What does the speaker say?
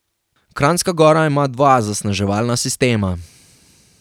Kranjska gora ima dva zasneževalna sistema.